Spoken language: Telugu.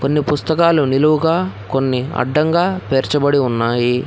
కొన్ని పుస్తకాలు నిలువుగా కొన్ని అడ్డంగా పేర్చబడి ఉన్నాయి.